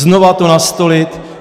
Znovu to nastolit.